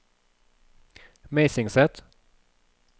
Meisingset